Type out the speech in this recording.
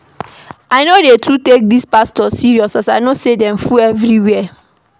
I no dey too take dese pastors serious as I know sey fake full everywhere.